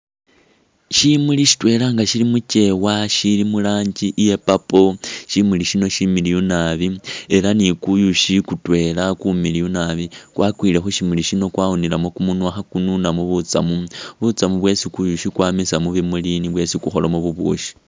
Shimuli shitwela nga shili mukewa shili muranji iya purple shimuli shino shimiliyu naabi elah ni kuyushi kutwela kumiliyu naabi kwakwile khushimuli shino kwawunilemo kumunywa khakununamo butsamu, butsamu bwesi kuyushi kwamisa mushimuli ni kwo kwesi kukholamo bubushii